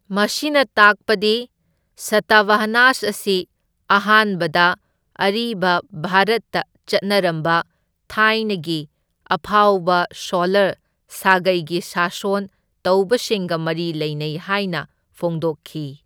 ꯃꯁꯤꯅ ꯇꯥꯛꯄꯗꯤ ꯁꯇꯚꯍꯅꯥꯁ ꯑꯁꯤ ꯑꯍꯥꯟꯕꯗ ꯑꯔꯤꯕ ꯚꯥꯔꯠꯇ ꯆꯠꯅꯔꯝꯕ ꯊꯥꯏꯅꯒꯤ ꯑꯐꯥꯎꯕ ꯁꯣꯂꯔ ꯁꯥꯒꯩꯒꯤ ꯁꯥꯁꯣꯟ ꯇꯧꯕꯁꯤꯡꯒ ꯃꯔꯤ ꯂꯩꯅꯩ ꯍꯥꯏꯅ ꯐꯣꯡꯗꯣꯛꯈꯤ꯫